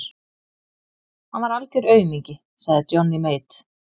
Hann var algör aumingi, sagði Johnny Mate.